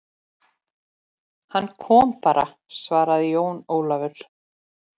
Hann kom bara, svaraði Jón Ólafur.